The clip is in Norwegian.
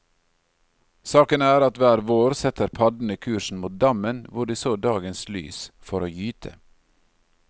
Saken er at hver vår setter paddene kursen mot dammen hvor de så dagens lys, for å gyte.